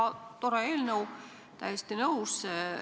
Väga tore eelnõu, olen täiesti nõus.